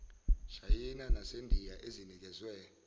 shayina nasendiya ezinikezwe